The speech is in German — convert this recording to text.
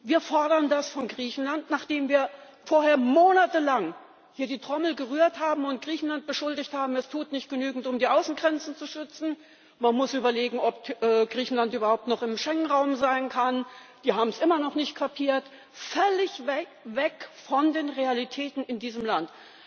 Wir fordern das von Griechenland, nachdem wir vorher monatelang hier die Trommel gerührt haben und Griechenland beschuldigt haben, es tut nicht genügend, um die Außengrenzen zu schützen, man muss überlegen ob, Griechenland überhaupt noch im Schengen Raum sein kann, die haben es immer noch nicht kapiert völlig weg von den Realitäten in diesem Land.